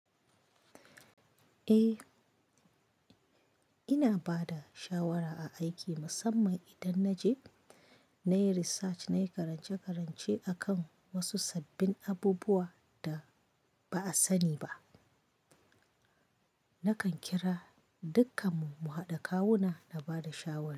Eh, ina bada shawara a aiki musamman idan na je na yi research, na yi karance-karance akan wasu sabbin abubuwa da ba a sani ba. Nakan kira dukkanmu mu haɗa kawuna na bada shawara.